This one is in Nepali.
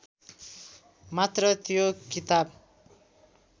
मात्र त्यो किताब